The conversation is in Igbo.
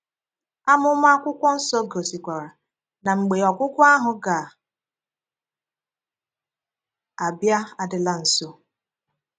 Amụ̀ma akwụkwọ nsọ gosikwara na mgbe “ ọgwụ́gwụ́” ahụ ga - abịa adị̀la nso.